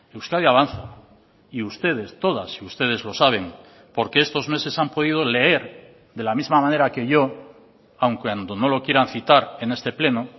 euskadi avanza y ustedes todas y ustedes lo saben porque estos meses han podido leer de la misma manera que yo aun cuando no lo quieran citar en este pleno